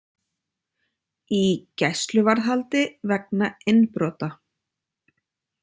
Í gæsluvarðhaldi vegna innbrota